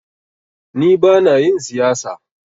Ni bana yin siyasa.